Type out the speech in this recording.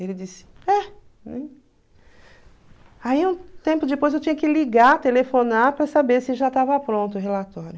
Ele disse, é. Aí um tempo depois eu tinha que ligar, telefonar para saber se já estava pronto o relatório.